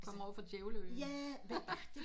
Du kommer ovre fra djævle øen ha ha